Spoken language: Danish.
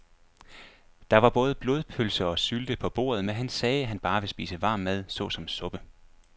Der var både blodpølse og sylte på bordet, men han sagde, at han bare ville spise varm mad såsom suppe.